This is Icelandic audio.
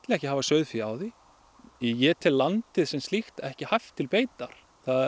ekki hafa sauðfé á því ég tel landið sem slíkt ekki hæft til beitar